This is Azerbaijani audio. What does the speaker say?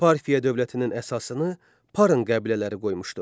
Parfiya dövlətinin əsasını Parın qəbilələri qoymuşdu.